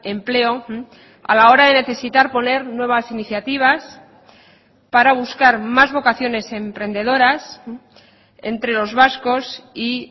empleo a la hora de necesitar poner nuevas iniciativas para buscar más vocaciones emprendedoras entre los vascos y